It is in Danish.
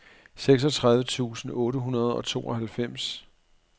seksogtredive tusind otte hundrede og tooghalvfems